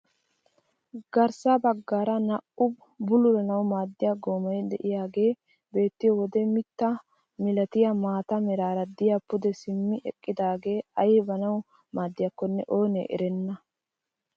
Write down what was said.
Garssa baggaara naa"u bululanawu maaddiyaa goomay de'iyaage beettiyoo wode mitta milatiyaa maata meraara de'iyaa pude simmi eqqidagee aybawu maaddiyakonne oonne erenna!